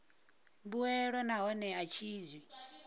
mbuelo nahone a tshi zwi